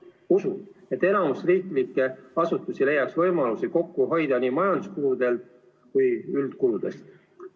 Usun, et enamik riiklikke asutusi leiaks võimalusi kokku hoida nii majanduskuludelt kui ka üldkuludelt.